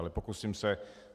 Ale pokusím se.